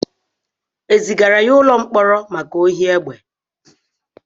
Ezigara ya ụlọ mkpọrọ maka ohi egbe